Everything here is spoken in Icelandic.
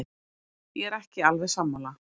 Ég er ekki alveg sammála.